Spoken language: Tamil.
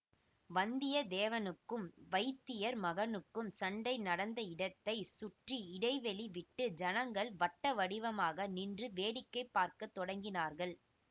வந்தியத்தேவனுக்கும் வைத்தியர் மகனுக்கும் சண்டை நடந்த இடத்தை சுற்றி இடைவெளி விட்டு ஜனங்கள் வட்டவடிவமாக நின்று வேடிக்கை பார்க்க தொடங்கினார்கள்